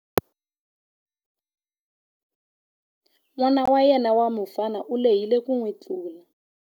N'wana wa yena wa mufana u lehile ku n'wi tlula.